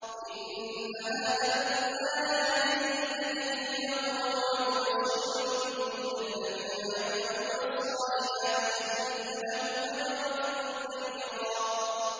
إِنَّ هَٰذَا الْقُرْآنَ يَهْدِي لِلَّتِي هِيَ أَقْوَمُ وَيُبَشِّرُ الْمُؤْمِنِينَ الَّذِينَ يَعْمَلُونَ الصَّالِحَاتِ أَنَّ لَهُمْ أَجْرًا كَبِيرًا